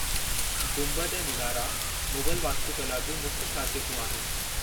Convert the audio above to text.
गुंबद ऐं मुनारा मुग़ल वास्तुकला जूं मुख्य ख़ासियतूं आहिनि।